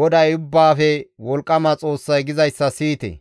GODAY Ubbaafe Wolqqama Xoossay gizayssa siyite.